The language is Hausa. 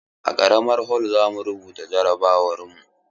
A karamar hol zamu rubuta jarabawar mu.